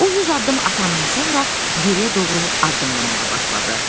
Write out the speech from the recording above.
O 100 addım atandan sonra geriyə doğru addımlamağa başladı.